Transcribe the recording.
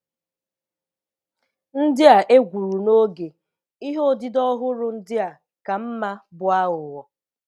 Ndị a e gwuru n'oge, ihe odide ọhụrụ ndị a ka mma bụ aghụghọ.